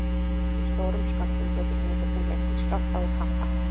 Í stórum skömmtum getur nikótín leitt til skjálfta og krampa.